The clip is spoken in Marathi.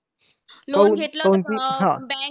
Loan घेतल्यावर ते अं bank